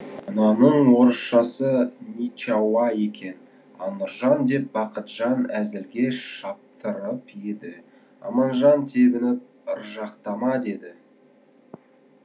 мынаның орысшасы ничауа екен а нұржан деп бақытжан әзілге шаптырып еді аманжан тебініп ыржақтама деді